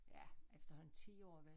Ja efterhånden 10 år vel